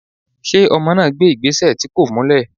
ṣe ọmọ na gbé igbesẹ tí kọ̀ múlè?